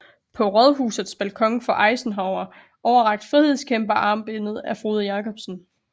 På Rådhusets balkon får Eisenhower overrakt frihedskæmperarmbindet af Frode Jacobsen